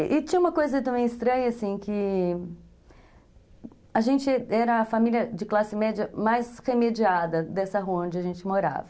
E tinha uma coisa também estranha, assim, que a gente era a família de classe média mais remediada dessa rua onde a gente morava.